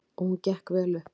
Og hún gekk vel upp.